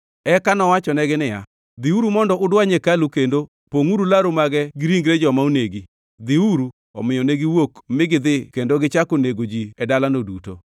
Eka nowachonegi niya, “Dhiuru mondo udwany hekalu kendo pongʼuru laru mage gi ringre joma onegi. Dhiuru!” Omiyo ne giwuok mi gidhi kendo negichako nego ji e dalano duto.